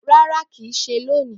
Rárá kìí ṣe lóni